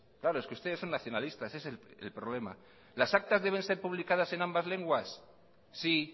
claro es que ustedes son nacionalistas ese es el problema las actas deben ser publicadas en ambas lenguas sí